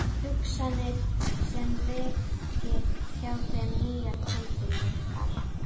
Hugsanir sem veki hjá þeim nýjar tilfinningar.